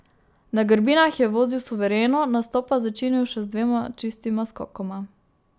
Na grbinah je vozil suvereno, nastop pa začinil še z dvema čistima skokoma.